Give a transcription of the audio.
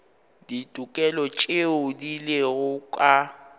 ditokelo tšeo di lego ka